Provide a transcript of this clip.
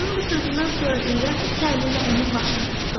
Rənanın bu sözündən sonra İlyas iki əli ilə onun başını tutdu.